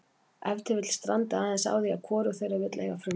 Ef til vill strandi aðeins á því að hvorug þeirra vill eiga frumkvæðið.